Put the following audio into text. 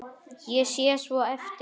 Ég sé svo eftir þér.